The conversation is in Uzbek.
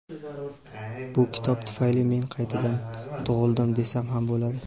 bu kitob tufayli men qaytadan tug‘ildim desam ham bo‘ladi.